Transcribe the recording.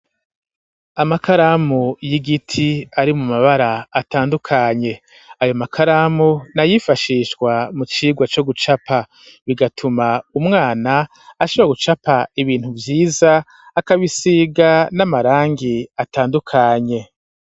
Amakaramu y'igiti, ari mu mabara atandukanye; ayo makaramu ni ayifashishwa mu cigwa co gucapa, bigatuma umwana ashobora gucapa ibintu vyiza, akabisiga n'amarangi atandukanye.